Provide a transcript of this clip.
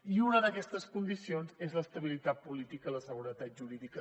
i una d’aquestes condicions és l’estabilitat política i la seguretat jurídica